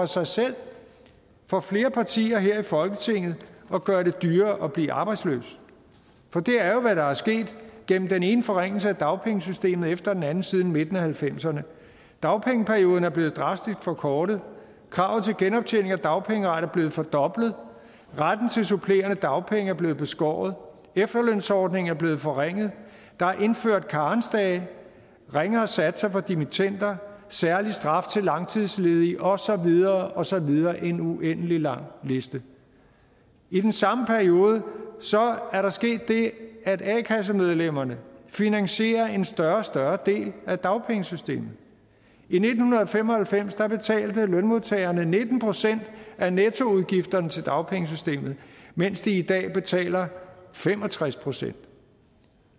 sig selv for flere partier her i folketinget at gøre det dyrere at blive arbejdsløs det er jo hvad der er sket gennem den ene forringelse af dagpengesystemet efter den anden siden midten af nitten halvfemserne dagpengeperioden er blevet drastisk forkortet kravet til genoptjening af dagpengeret er blevet fordoblet retten til supplerende dagpenge er blevet beskåret efterlønsordningen er blevet forringet der er indført karensdage ringere satser for dimittender særlig straf til langtidsledige og så videre og så videre en uendelig lang liste i den samme periode er der sket det at a kassemedlemmerne finansierer en større og større del af dagpengesystemet i nitten fem og halvfems betalte lønmodtagerne nitten procent af nettoudgifterne til dagpengesystemet mens de i dag betaler fem og tres procent